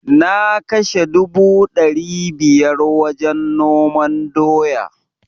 Na kashe dubu dari biyar wajen noman doya